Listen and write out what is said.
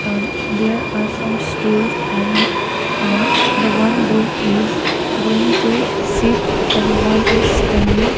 ah there are some stools and ah the one boy is going to sit and one is standing.